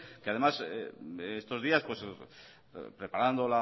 que ademés estos días preparando